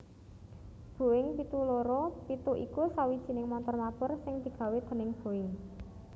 Boeing pitu loro pitu iku sawijining montor mabur sing digawé déning Boeing